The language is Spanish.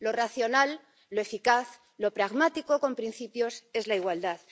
Lo racional, lo eficaz, lo pragmático con principios es la igualdad.